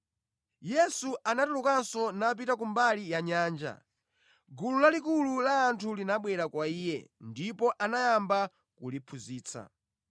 Yesu anatulukanso napita kumbali ya nyanja. Gulu lalikulu la anthu linabwera kwa Iye, ndipo anayamba kuliphunzitsa.